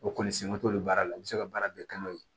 O kɔni se man t'o baara la u be se ka baara bɛɛ kɛ n'o ye